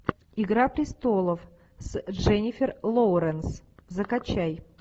игра престолов с дженнифер лоуренс закачай